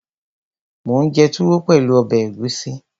Mò ún jẹ túwó pẹ̀lú ọbẹ̀ ẹ̀gúsí